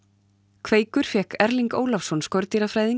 kveikur fékk Erling Ólafsson